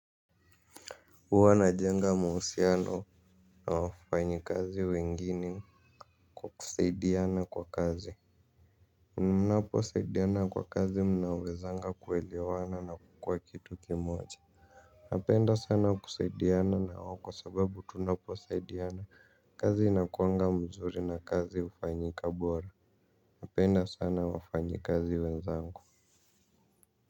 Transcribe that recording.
Uwa na jenga mahusiano na wafanyakazi wengine kwa kusaidiana kwa kazi mnapo saidiana kwa kazi mnawezanga kuwelewana na kukua kitu kimoja napenda sana kusaidiana nao kwa sababu tunaposaidiana kazi inakuanga mzuri na kazi hufanyika bora napenda sana wafanyakazi wenzangu.